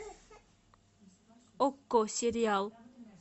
окко сериал